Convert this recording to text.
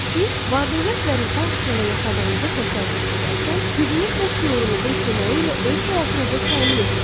Siz var-dövlət və rifah içində yaşadığınızı təsəvvür edərkən gücünüz və şüurunuzun köməyi ilə öz həyatınızı təmin etmiş olursunuz.